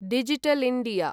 digital India